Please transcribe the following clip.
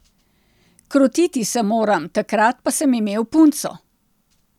Krotiti se moram, takrat pa sem imel punco.